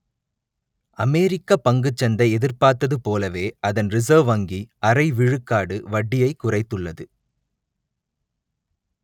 அமெரிக்க பங்குச் சந்தை எதிர்பார்த்தது போலவே அதன் ரிசர்வ் வங்கி அரை விழுக்காடு வட்டியை குறைத்துள்ளது